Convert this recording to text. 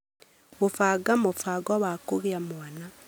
Gũbanga mũbango wa kũgĩa mwana